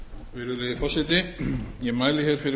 hæstvirtur forseti ég mæli hér fyrir